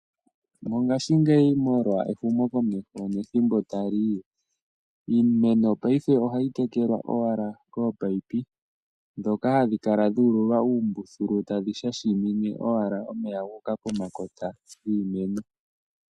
Molwashi ngeyi molwa ehumo komeho nethimbo ta liyi , iimeno payife ohayi tekelwa owala kominino dhoka hadhikala dhululwa umbuthulu tadhi shashimine owala omeya nguka pomakota ngiimeno.